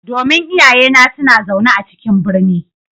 Domin iyayena suna zaune a cikin birni.